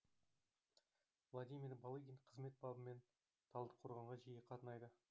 владимир балыгин қызмет бабымен талдықорғанға жиі қатынайды